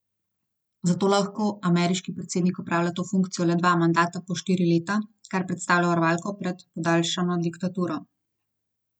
Zato lahko ameriški predsednik opravlja to funkcijo le dva mandata po štiri leta, kar predstavlja varovalko pred podaljšano diktaturo.